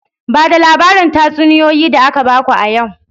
Ba da labarin tatsuniyoyi da aka baku a yau!